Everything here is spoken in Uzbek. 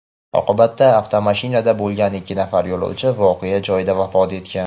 Oqibatda avtomashinada bo‘lgan ikki nafar yo‘lovchi voqea joyida vafot etgan.